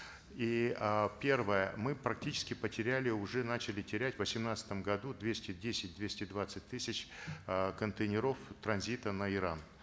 и э первое мы практически потеряли уже начали терять в восемнадцатом году двести десять двести двадцать тысяч э контейнеров транзита на иран